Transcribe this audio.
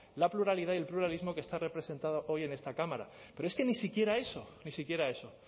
la pluralidad y el pluralismo que está representado hoy en esta cámara pero es que ni siquiera eso ni siquiera eso